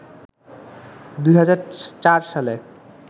২০০৪ সালে